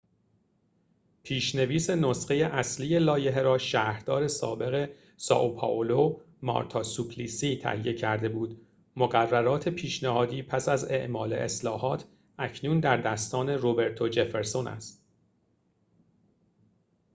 پیش‌نویس نسخه اصلی لایحه را شهردار سابق سائو پائولو مارتا سوپلیسی تهیه کرده بود مقررات پیشنهادی پس از اعمال اصلاحات اکنون در دستان روبرتو جفرسون است